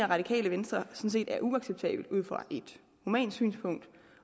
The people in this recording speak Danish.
radikale venstre sådan set er uacceptabelt ud fra et humant synspunkt